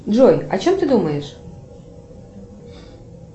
джой о чем ты думаешь